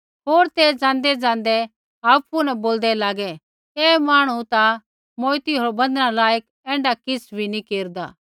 होर तै जाँदैजाँदै आपु न बोलदै लागै ऐ मांहणु ता मौऊत होर बन्धना लायक ऐण्ढा किछ़ नी केरदा